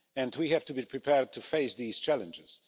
We have to be prepared to face these challenges.